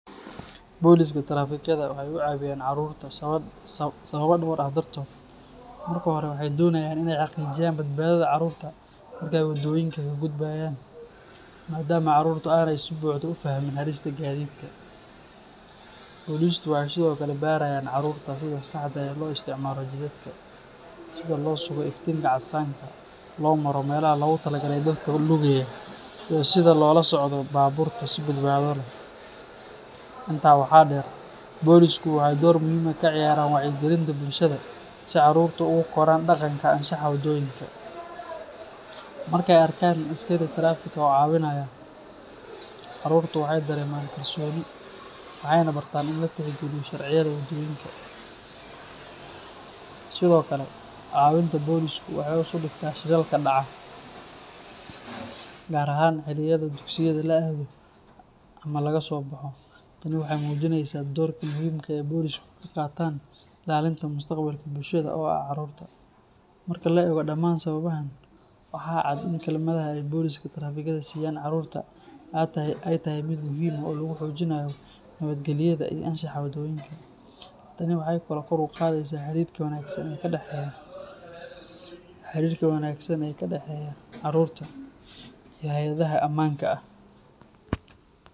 Boliska trafikada waxay u caawiyaan carruurta sababo dhowr ah dartood. Marka hore, waxay doonayaan inay xaqiijiyaan badbaadada carruurta marka ay waddooyinka ka gudbayaan, maadaama carruurtu aanay si buuxda u fahmin halista gaadiidka. Bolisku waxay sidoo kale barayaan carruurta sida saxda ah ee loo isticmaalo jidadka, sida loo sugo iftiinka casaanka, loo maro meelaha loogu tala galay dadka lugeeya, iyo sida loola socdo baabuurta si badbaado leh. Intaa waxaa dheer, bolisku waxay door muhiim ah ka ciyaaraan wacyigelinta bulshada si carruurtu ugu koraan dhaqanka anshaxa wadooyinka. Markay arkaan askari tareefik ah oo caawinaya, carruurtu waxay dareemaan kalsooni waxayna bartaan in la tixgeliyo sharciyada waddooyinka. Sidoo kale, caawinta bolisku waxay hoos u dhigtaa shilalka dhaca, gaar ahaan xilliyada dugsiyada la aado ama laga soo baxo. Tani waxay muujinaysaa doorka muhiimka ah ee ay bolisku ka qaataan ilaalinta mustaqbalka bulshada oo ah carruurta. Marka la eego dhammaan sababahan, waxaa cad in kaalmada ay boliska trafikada siiyaan carruurta ay tahay mid muhiim ah oo lagu xoojinayo nabadgelyada iyo anshaxa waddooyinka. Tani waxay kaloo kor u qaadaysaa xiriirka wanaagsan ee ka dhexeeya carruurta iyo hay’adaha ammaanka.